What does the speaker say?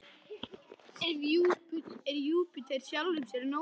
Er Júpíter sjálfum sér nógur?